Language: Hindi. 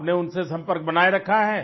आपने उनसे संपर्क बनाये रखा है